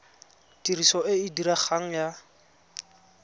tiriso e e diregang ya